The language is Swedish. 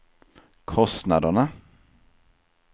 kostnaderna